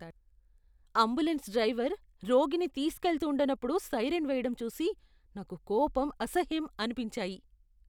Ambulance driver రోగిని తీస్కెళ్తూండనప్పుడు siren వేయడం చూసి నాకు కోపం, అసహ్యం అనిపించాయి.